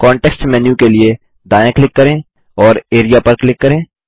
context menu के लिए दायाँ क्लिक करें और एआरईए पर क्लिक करें